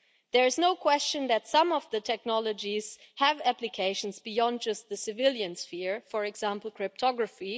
There is no question that some of the technologies have applications beyond just the civilian sphere, for example, cryptography.